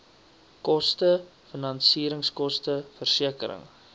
koste finansieringskoste versekering